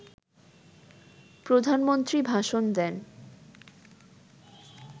প্রধানমন্ত্রী ভাষণ দেন